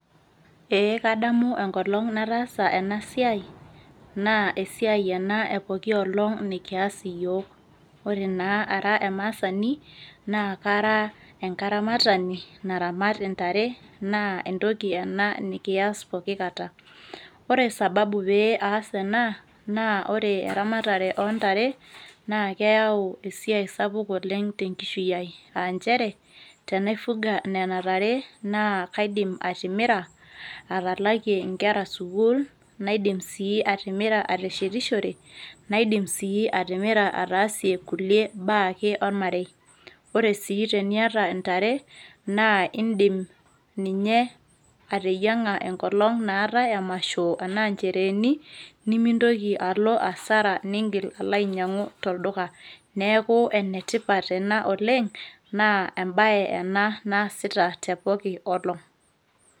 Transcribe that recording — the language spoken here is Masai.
ee kadamu enkolong nataasa ena siai naa esiai ena epoki olong nikias iyiok ore naa ara emaasani naa kara enkaramatani naramat intare naa entoki ena nikiyas poki kata ore sababu pee aas ena naa ore eramatare ontare naa keyau esiai sapuk oleng tenkishui ai anchere tenaifuga nena tare naa kaidim atimira atalakie inkera sukul naidim sii atimira ateshetishore naidim sii atimira ataasie kulie baa ake ormarei ore sii teniata intare naa indim ninye ateyiang'a enkolong naatae emasho enaa nchereeni nimintoki alo asara ningil alo ainyiang'u tolduka neeku enetipat ena oleng naa embaye ena naasita tepoki olong.